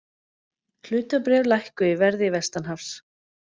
Hlutabréf lækkuðu í verði vestanhafs